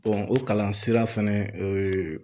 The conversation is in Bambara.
o kalan sira fɛnɛ